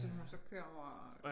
Som hun så kører over